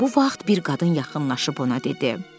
Elə bu vaxt bir qadın yaxınlaşıb ona dedi: